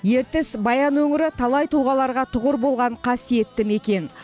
ертіс баян өңірі талай тұлғаларға тұғыр болған қасиетті мекен